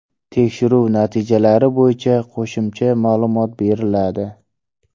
Tekshiruv natijalari bo‘yicha qo‘shimcha ma’lumot beriladi.